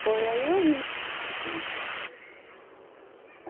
Foi aí eu vim.